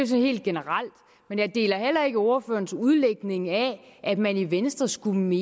sådan helt generelt men jeg deler heller ikke ordførerens udlægning af at man i venstre skulle mene